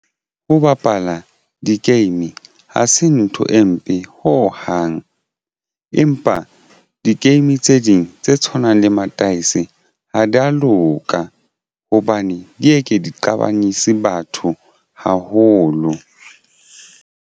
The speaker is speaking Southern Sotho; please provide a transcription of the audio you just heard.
Ho bapala di-game ha se ntho e mpe ho hang, empa di game tse ding tse tshwanang le mataese ha di ya loka hobane di eke diqabanyise batho haholo.